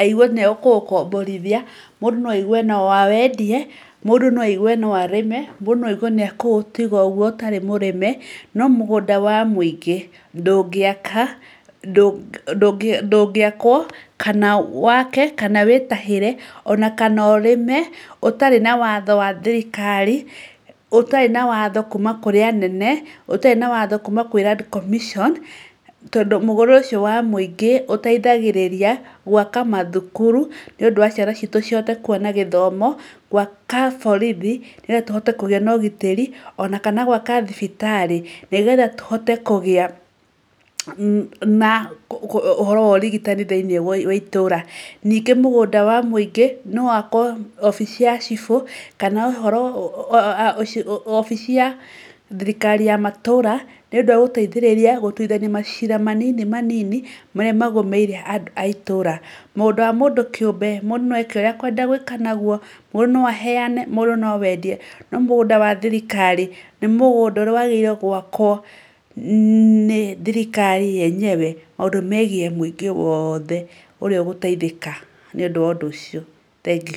aigue nĩ ekũũkomborithia, mũndũ no aigue no awendie, mũndũ no aigue no arĩme, mũndũ no aigue nĩ ekũũtiga ũguo ũtarĩ mũrĩme. No mũgũnda wa mũingĩ ndũngĩaka, ndũngĩakwo kana wake, kana wĩtahĩre ona kana ũrĩme ũtarĩ na watho wa thirikari, ũtarĩ na watho kuuma kũrĩ anene, ũtarĩ na watho kuuma kwĩ Land Commission. Tondũ mũgũnda ũcio wa mũingĩ ũteithagĩrĩria gwaka mathukuru nĩ ũndũ wa ciana citũ cihote kuona gĩthomo, gwaka borithi nĩgetha tũhote kũgĩa na ũgitĩri, ona kana gwaka thibitarĩ nĩgetha tũhote kũgĩa na ũhoro wa ũrigitani thĩiniĩ wa itũra. Ningĩ mũgũnda wa mũingĩ no wakwo wabici ya Cibũ kana wabici ya thirikari ya matũra, nĩũndũ wa gũteithĩrĩria gũtuithania macira manini manini marĩa magũmĩire andũ a itũra. Mũgũnda wa mũndũ kĩũmbe mũndũ no eke ũrĩa ekwenda gwĩka naguo, mũndũ no aheane, mũndũ no awendie. No mũgũnda wa thirikari nĩ mũgũnda ũrĩa wagĩrĩirwo gwakwo nĩ thirikari yenyewe maũndũ megiĩ mũingĩ wothe ũrĩa ũgũteithĩka nĩ ũndũ wa ũndũ ũcio. Thengiũ.